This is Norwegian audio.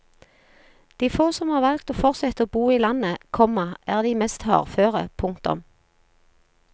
De få som har valgt å fortsette å bo i landet, komma er de mest hardføre. punktum